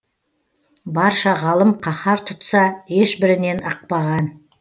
барша ғалым қаһар тұтса ешбірінен ықпаған